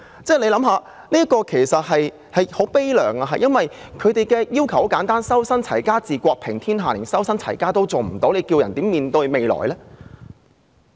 這故事確實悲涼，因為他們的要求很簡單，所謂"修身，齊家，治國，平天下"，當人們連修身和齊家也做不到的時候，還能如何面對未來？